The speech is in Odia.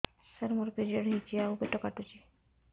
ସାର ମୋର ପିରିଅଡ଼ ହେଇଚି ଆଉ ପେଟ କାଟୁଛି